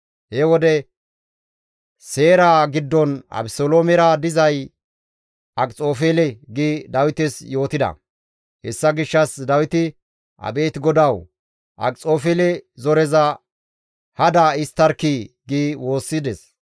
He wode, «Seeraa giddon Abeseloomera dizay Akxofeele» gi Dawites yootida; hessa gishshas Dawiti, «Abeet GODAWU! Akxofeele zoreza hada histtarkkii» gi woossides.